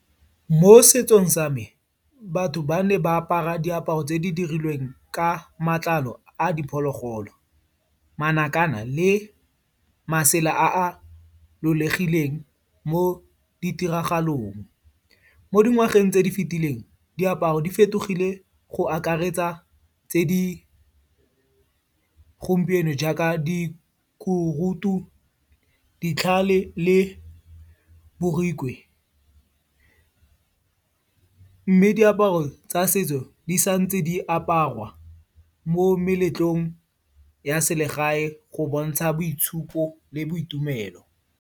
Mo setsong sa me, batho ba ne ba apara diaparo tse di dirilweng ka matlalo a diphologolo, makana le masela a lolegileng mo ditiragalong. Mo dingwageng tse di fetileng, diaparo di fetogile go akaretsa tse di gompieno jaaka dikurudu, ditlhale le borikwe. Mme diaparo tsa setso, di sa ntse di aparwa mo meletlong ya selegae go bontsha boitshupo le boitumelo.